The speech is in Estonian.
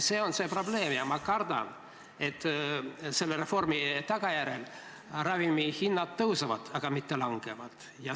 See on see probleem ja ma kardan, et reformi tagajärjel ravimihinnad tõuseksid, mitte ei langeks.